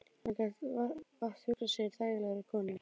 Hann gat vart hugsað sér þægilegri konu.